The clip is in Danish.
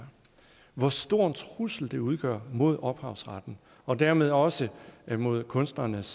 hvor stor en trussel det udgør mod ophavsretten og dermed også mod kunstnernes